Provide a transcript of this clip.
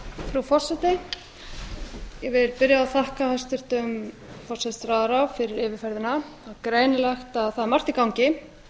frú forseti ég vil byrja á að þakka hæstvirtum forsætisráðherra fyrir yfirferðina það er greinilegt að það er margt í gangi